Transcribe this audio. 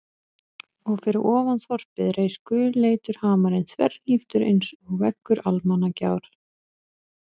Og fyrir ofan þorpið reis gulleitur hamarinn þverhníptur einsog veggur Almannagjár.